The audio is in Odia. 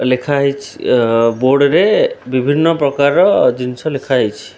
ଲେଖା ହେଇଛି ଅ ବୋର୍ଡ ରେ ବିଭିନ୍ନ ପ୍ରକାରର ଜିନିଷ ଲେଖା ହେଇଛି।